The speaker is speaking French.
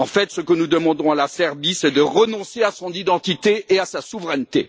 En fait, ce que nous demandons à la Serbie, c'est de renoncer à son identité et à sa souveraineté.